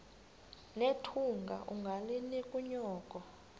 nethunga ungalinik unyoko